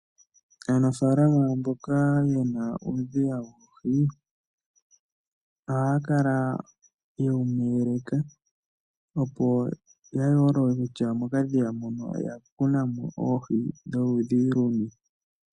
Aanafalama mboka yena uudhiya woohi, ohaya kala yewu meleka opo ya yoolole kutya mokadhiya muno oya kuna oohi dholudhi luni.